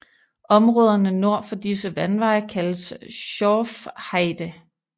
Områderne nord for disse vandveje kaldes Schorfheide